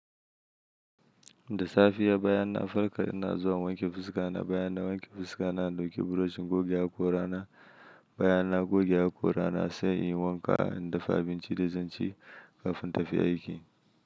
Da safiya baya na farka ina zuwa wanke fuska na, baya na wanke fuska na, na ɗauki brush goge haƙora na, baya na goge haƙora na sai in yi wanka, in dafa abincin da zan ci kafin tafi aiki.